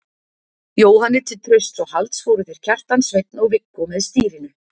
Jóhanni til trausts og halds fóru þeir Kjartan, Sveinn og Viggó með stýrinu.